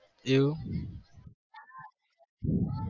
એવું